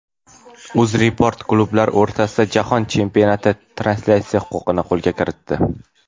UzReport klublar o‘rtasidagi Jahon Chempionati translyatsiyasi huquqini qo‘lga kiritdi.